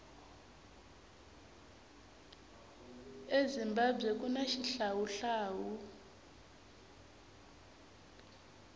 ezimbabwe kuna xihlawuhlawu